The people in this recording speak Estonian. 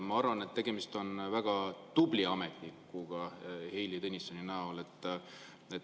Ma arvan, et Heili Tõnissoni näol on tegemist väga tubli ametnikuga.